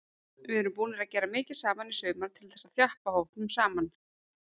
Við erum búnir að gera mikið saman í sumar til þess að þjappa hópnum saman.